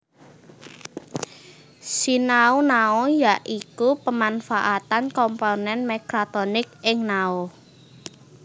Sinau Nao ya iku pemanfaatan komponen mekatronik ing nao